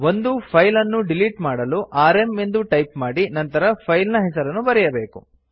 ಒಂದು ಫೈಲ್ ಅನ್ನು ಡಿಲಿಟ್ ಮಾಡಲು ಆರ್ಎಂ ಎಂದು ಟೈಪ್ ಮಾಡಿ ನಂತರ ಫೈಲ್ ನ ಹೆಸರನ್ನು ಬರೆಯಬೇಕು